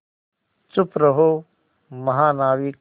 चुप रहो महानाविक